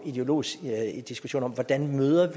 ideologisk diskussion om hvordan vi møder